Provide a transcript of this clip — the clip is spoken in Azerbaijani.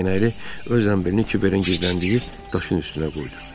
Dəyənəkli öz zənbilini Kiberin gizləndiyi daşın üstünə qoydu.